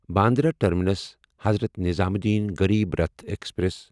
Bandra terminus Hazrat Nizamuddin Garib Rath express